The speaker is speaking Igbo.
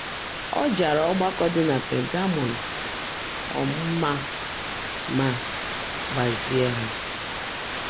A jara ọgbakọ dị na Pagamọm um mma ma gbazie ha.